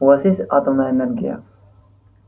у вас есть атомная энергия